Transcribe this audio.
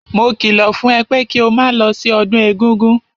Mo kìlọ̀ fún ẹ pé kí o máa lọ sí ọdún egúngún!